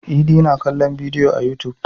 Idi na kallon bidiyo a yutub.